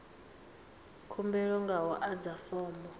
khumbelo nga u adza fomo